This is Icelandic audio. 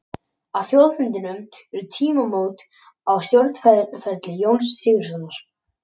Á þjóðfundinum urðu tímamót á stjórnmálaferli Jóns Sigurðssonar.